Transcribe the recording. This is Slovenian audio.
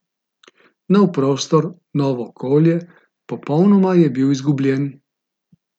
Nov prostor, novo okolje, popolnoma je bil izgubljen.